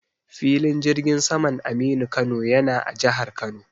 Filin jirgin saman Aminu Kano yana a jahar Kano.